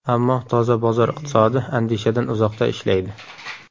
Ammo toza bozor iqtisodi andishadan uzoqda ishlaydi.